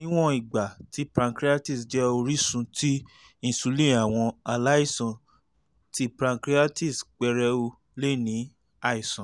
niwọn igba ti pancreatitis jẹ orisun ti insulin awọn alaisan ti pancreatitis pẹrẹu le ni aisan